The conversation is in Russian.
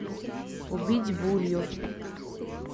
убить булью